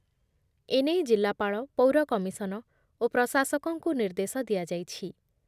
ଏ ନେଇ ଜିଲ୍ଲାପାଳ, ପୌର କମିଶନ ଓ ପ୍ରଶାସକଙ୍କୁ ନିର୍ଦ୍ଦେଶ ଦିଆଯାଇଛି ।